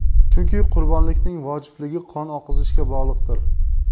Chunki qurbonlikning vojibligi qon oqizishga bog‘liqdir.